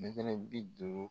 Mɛtɛrɛ bi duuru.